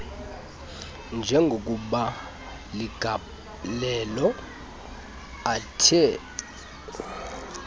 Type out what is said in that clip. njengokuba ligalelo athe